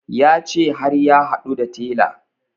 Ya ce har ya haɗu da tela